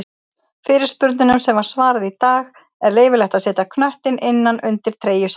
Fyrirspurnum sem var svarað í dag:-Er leyfilegt að setja knöttinn innan undir treyju samherja?